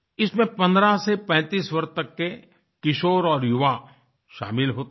इसमें 15 से 35 वर्ष तक के किशोर और युवा शामिल होते हैं